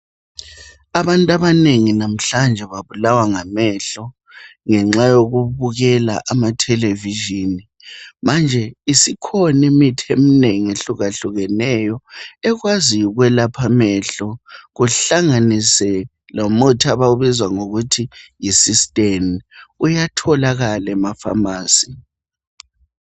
Abantu babanengi namhlanje babulawa ngamehlo ngenxa yokubukela amathelevizhini manje isikhona imithi ehlukehlukeneyo ekwaziyo ukwelapha amehlo kuhlanganise lomuthi okuthiwa yi systane uyatholakala ema pharmacy.